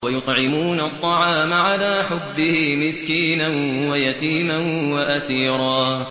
وَيُطْعِمُونَ الطَّعَامَ عَلَىٰ حُبِّهِ مِسْكِينًا وَيَتِيمًا وَأَسِيرًا